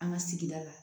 An ka sigida la